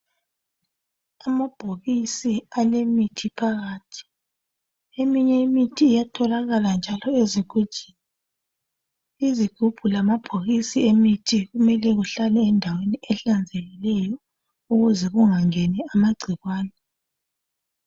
Amabhokisi alemithi phakathi. Eminye imithi iyatholakala njalo ezigujini .Izigubhu lamabhokisi emithi kumele kuhlale endaweni ehlanzekileyo ukuze kungangeni amagcikwane.